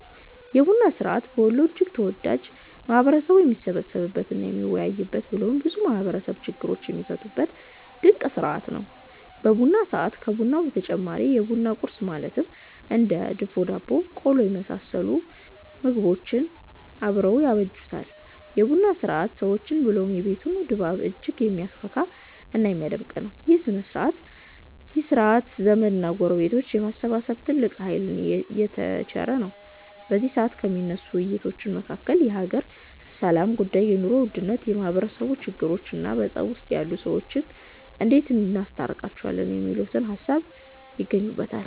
የቡና ስርዐት በወሎ እጅግ ተወዳጅ፣ ማህበረሰቡም የሚሰባሰብበት እና የሚወያይበት ብሎም ብዙ የማህበረሰቡ ችግሮች የሚፈቱበት ድንቅ ስርዐት ነው። በቡና ሰዐት ከቡናው በተጨማሪ የቡና ቁረስ ማለትም እንደ ድፎ ዳቦ እና ቆሎ የመሰሉ ምግቦች አብረው ያጅቡታል። የ ቡና ስርዐት ሰዎችን ብሎም የቤቱን ድባብ እጅግ የሚያፈካ እና የሚያደምቅ ነው። ይህ ስርዐት ዘመድ እና ጎረቤትን የማሰባሰብ ትልቅ ሃይልን የተቸረ ነው። በዚ ሰዐት ከሚነሱ ውይይቶች መካከል የሃገር ሰላም ጉዳይ፣ የ ኑሮ ውድነት፣ የማህበረሰቡ ችግሮቾ እና በፀብ ውስጥ ያሉ ሰዎችን እንዴት እናስታርቃቸው የሚሉት ሃሳቦች ይገኙበተል።